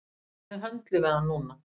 Þannig höndlum við hann núna